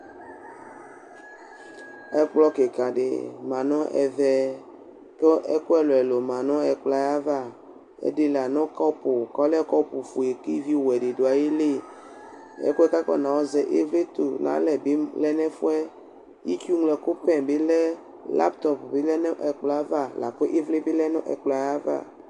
Ɛkplɔ kɩka dɩ ma nʋ ɛvɛ, kʋ ɛkʋ ɛlʋ ɛlʋ ma nʋ ɛkplɔ yɛ ava: ɛdɩ la nʋ kɔpʋ kʋ ɔlɛ kɔpʋ ofue kʋ ivi ɔwɛ dɩ dʋ ayɩlɩ Ɛkʋ yɛ kʋ akɔna yɔ zɛ ivli tʋ nʋ alɛ bɩ lɛ nʋ ɛfʋ yɛɩtsʋ ŋlo ɛkʋ " pɛn " bɩ lɛ, Laptɔp bɩ lɛ nʋ ɛkplɔ yɛ ava lakʋ ivli bɩ lɛ nʋ ɛkplɔ yɛ ava